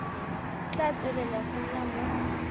tla tswelela go nna mo